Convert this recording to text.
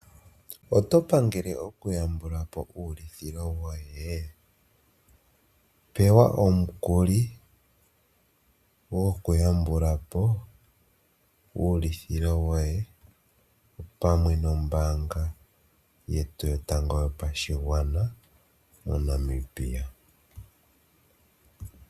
Oto pangele okuyambula po uulithilo woye? Pewa omukuli gwokuyambula po uulithilo woye opamwe nombaanga yetu yotango yopashigwana moNamibia.